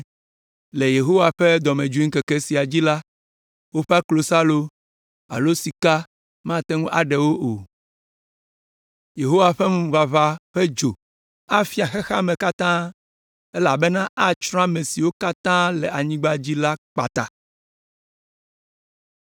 Le Yehowa ƒe dɔmedzoeŋkeke sia dzi la, woƒe klosalo alo sika mate ŋu aɖe wo o.” Yehowa ƒe ŋuʋaʋã ƒe dzo afia xexea me katã, elabena atsrɔ̃ ame siwo katã le anyigba dzi la kpata.